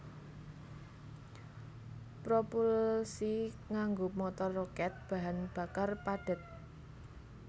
Propulsi nganggo motor rokèt bahan bakar padhet